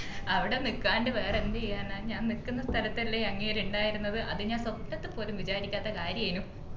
അവിടെ നിക്കാണ്ട് വേറെ എന്ത് ചെയ്യാനാ ഞാൻ നിക്കുന്ന സ്ഥലത്തല്ലേ അങ്ങേര് ഇണ്ടായിരുന്നത് അത് ഞാൻ സ്വപ്നത്തിൽ പോലും വിചാരിക്കാത്ത കാര്യേന്‌